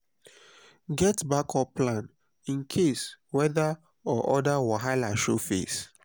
get backup plan in case weather or other wahala show face.